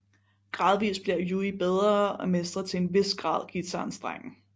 Gradvist bliver Yui bedre og mestrer til en hvis grad guitarens strenge